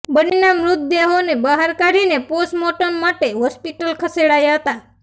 બંનેના મૃતદેહોને બહાર કાઢીને પોસ્ટમોર્ટમ માટે હોસ્પિટલ ખસેડાયા હતા